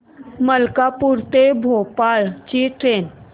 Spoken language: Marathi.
मलकापूर ते भोपाळ ची ट्रेन